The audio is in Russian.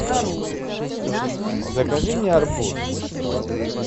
закажи мне арбуз